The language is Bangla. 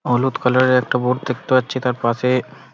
হলুদ কালার -এর একটা বোর্ড দেখতে পাচ্ছি তার পাশে--